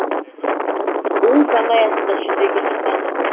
ол заң аясында жүзеге асады